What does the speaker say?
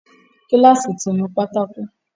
Kíláàsì ti nu pátákó